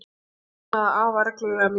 Hún saknaði afa reglulega mikið.